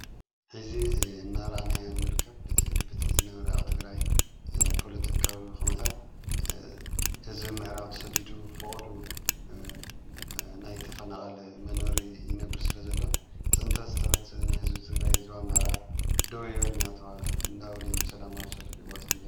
ሕዚ እናራነዮ ንርከብ በቲ ዝነበሪኣው ትግራይ ጶሎጥካዊ ከሙኡታት ሕዝቢ ምዕራብ ተሰዲዱ ፍቕዱ ናይ ተፈነቓል መነሪ ይነብር ስለ ዘለ ጽንተት ዝተወትን ሕዝቢ ትግራይ ዝዋ ምዕራብ ደው ይበል ናበሉ ናወልዮም ሰላም ኣብ ሰልፊ ይቦት የምበሎ።